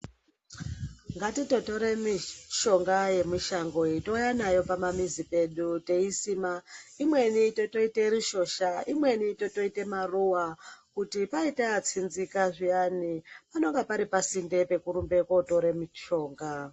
Ngatitotore mishonga yemushango, touya nayo pamamizi pedu teisima. Imwemi totoita rushosha, imweni totoite maruwa kuti paita atsinzika zviyani, panenge pari pasinde pekurumba kotora mishonga.